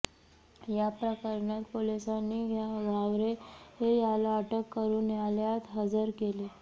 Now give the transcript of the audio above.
या प्रकरणात पोलिसांनी घावरे याला अटक करून न्यायालयात हजर केले